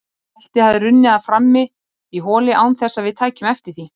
Beltið hafði runnið af frammi í holi án þess að við tækjum eftir því.